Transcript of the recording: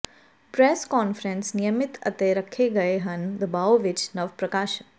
press conference ਨਿਯਮਿਤ ਅਤੇ ਰੱਖੇ ਗਏ ਹਨ ਦਬਾਓ ਵਿੱਚ ਨਵ ਪ੍ਰਕਾਸ਼ਨ